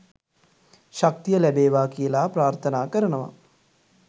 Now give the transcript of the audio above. ශක්තිය ලැබේවා කියලා ප්‍රාර්තනා කරනවා